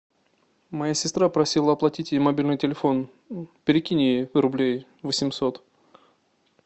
моя сестра просила оплатить ей мобильный телефон перекинь ей рублей восемьсот